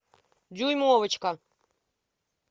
дюймовочка